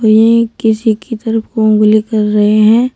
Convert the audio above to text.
ये किसी की तरफ उंगली कर रहे हैं।